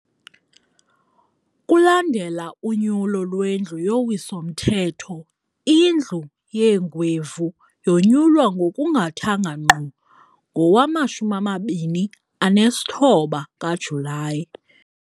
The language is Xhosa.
Kulandela unyulo lweNdlu yoWiso-mthetho, iNdlu yeeNgwevu yonyulwa ngokungathanga ngqo ngowama-29 kaJulayi.